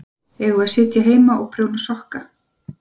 Eigum við að sitja heima og prjóna sokka?